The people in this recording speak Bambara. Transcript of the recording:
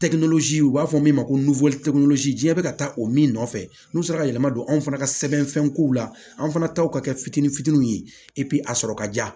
u b'a fɔ min ma ko diɲɛ bɛ ka taa o min nɔfɛ n'u sera ka yɛlɛma don anw fana ka sɛbɛnfɛnkow la an fana taw ka kɛ fitini fitini ye a sɔrɔ ka diya